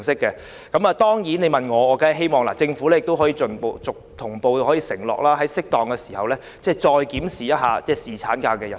如果你問我，我當然希望政府能同步承諾，在適當時候，再檢視侍產假日數。